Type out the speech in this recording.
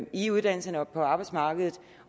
i uddannelserne og på arbejdsmarkedet